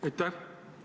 Aitäh!